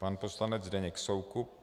Pan poslanec Zdeněk Soukup.